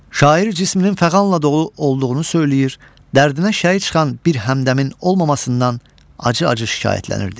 Şair cisminin fəğanla dolu olduğunu söyləyir, dərdinə şərik çıxan bir həmdəmin olmamasından acı-acı şikayətlənirdi.